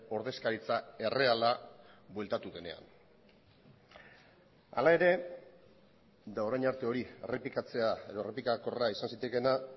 ordezkaritza erreala bueltatu denean hala ere eta orain arte hori errepikatzea edo errepikakorra izan zitekeena